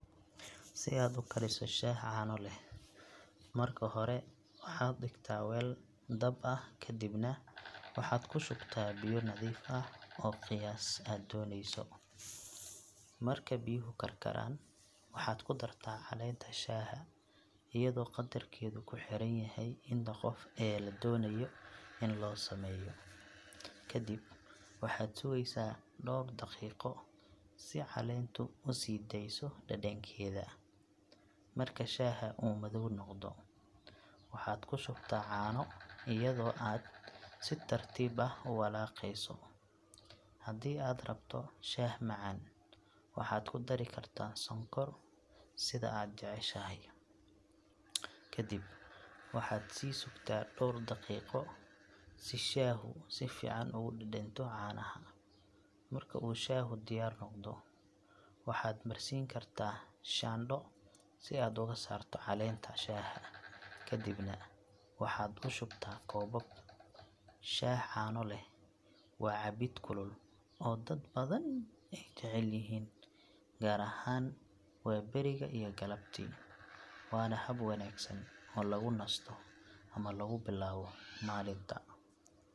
Si aad u kariso shaah caano leh, marka hore waxaad dhigtaa weel dab ah kadibna waxaad ku shubtaa biyo nadiif ah oo ah qiyaas aad dooneyso. Marka biyuhu karkaraan, waxaad ku dartaa caleenta shaaha iyadoo qadarkeedu ku xiran yahay inta qof ee la doonayo in loo sameeyo. Kadib waxaad sugeysaa dhowr daqiiqo si caleentu u sii daayso dhadhankeeda. Marka shaaha uu madow noqdo, waxaad ku shubtaa caano iyadoo aad si tartiib ah u walaaqeyso. Haddii aad rabto shaah macaan, waxaad ku dari kartaa sonkor sida aad jeceshahay. Kadib waxaad sii sugtaa dhowr daqiiqo si shaahu si fiican ugu dhadhanto caanaha. Marka uu shaahu diyaar noqdo, waxaad marsiin kartaa shaandho si aad uga saarto caleenta shaaha kadibna waxaad u shubtaa koobab. Shaah caano leh waa cabbid kulul oo dad badan ay jecel yihiin gaar ahaan waaberiga iyo galabtii, waana hab wanaagsan oo lagu nasto ama lagu bilaabo maalinta.